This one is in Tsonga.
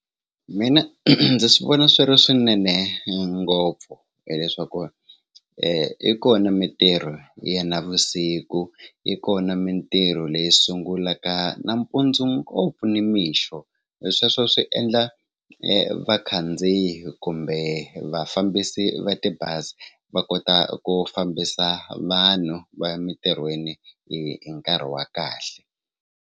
Mina ndzi swi vona swi ri swinene ngopfu hileswaku i kona mitirho ya navusiku yi kona mitirho leyi sungulaka nampundzu ngopfu ni mixo hi sweswo swi endla vakhandziyi kumbe vafambisi va tibazi va kota ku fambisa vanhu va emitirhweni hi nkarhi wa kahle.